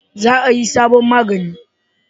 Za a yi sabon magani